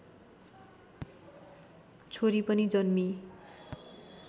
छोरी पनि जन्मिई